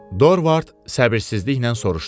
Dorvart səbirsizliklə soruşdu.